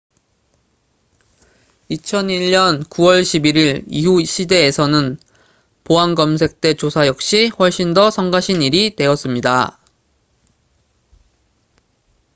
2001년 9월 11일 이후 시대에서는 보안 검색대 조사 역시 훨씬 더 성가신 일이 되었습니다